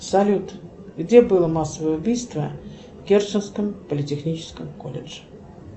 салют где было массовое убийство в керченском политехническом колледже